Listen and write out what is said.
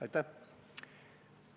Aitäh!